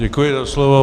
Děkuji za slovo.